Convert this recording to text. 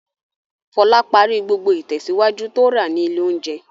Fọlá parí gbogbo ìtẹ̀síwájú tó rà ní ilé-oúnjẹ.